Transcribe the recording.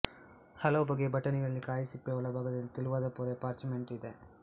ಹಲವು ಬಗೆಯ ಬಟಾಣಿಗಳಲ್ಲಿ ಕಾಯಿಯ ಸಿಪ್ಪೆಯ ಒಳಭಾಗದಲ್ಲಿ ತೆಳುವಾದ ಪೊರೆ ಪಾರ್ಚಮೆಂಟ್ ಇದೆ